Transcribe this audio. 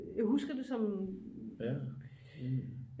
Jeg husker det som